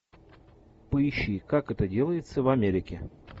поищи как это делается в америке